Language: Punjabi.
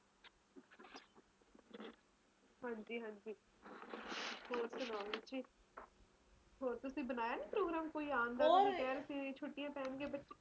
ਹਾਂਜੀ ਹਾਂਜੀ ਹੋਰ ਸੁਣਾਓ ਰੁਚੀ ਹੋਰ ਤੁਸੀਂ ਬਣਾਇਆ ਨੀ ਕੋਈ program ਆਣਦਾ ਤੁਸੀ ਕਹਿ ਰਹੇ ਸੀਗੇ ਛੁੱਟੀਆਂ ਪੈਣਗਈਆ ਬੱਚਿਆਂ ਨੂੰ